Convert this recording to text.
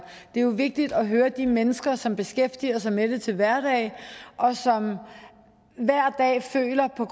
det er jo vigtigt at høre de mennesker som beskæftiger sig med det til hverdag og som hver dag føler på